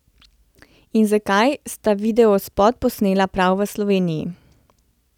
In zakaj sta videospot posnela prav v Sloveniji?